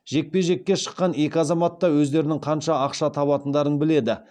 жекпе жекке шыққан екі азамат та өздерінің қанша ақша табатындарын біледі